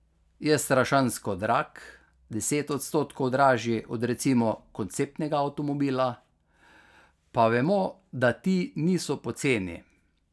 Je strašansko drag, deset odstotkov dražji od recimo konceptnega avtomobila, pa vemo, da ti niso poceni.